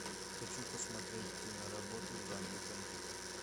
хочу посмотреть киноработу в жанре фэнтези